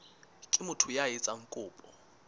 ke motho ya etsang kopo